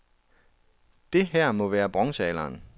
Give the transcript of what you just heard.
Det her må være bronzealderen.